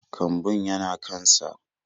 Kambun yana kan sa